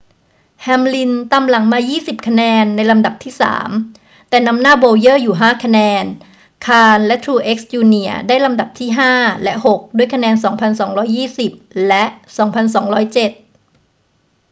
แฮมลินตามหลังมา 20 คะแนนในลำดับที่สาม แต่นำหน้าโบว์เยอร์อยู่ 5 คะแนน คาห์นและทรูเอกซ์ จูเนียร์ได้ลำดับที่ห้าและหกด้วยคะแนน 2,220 และ 2207